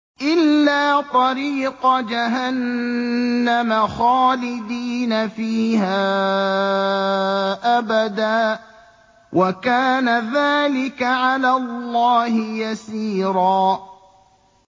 إِلَّا طَرِيقَ جَهَنَّمَ خَالِدِينَ فِيهَا أَبَدًا ۚ وَكَانَ ذَٰلِكَ عَلَى اللَّهِ يَسِيرًا